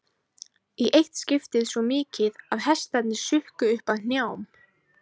Í eitt skiptið svo mikið að hestarnir sukku upp að hnjám.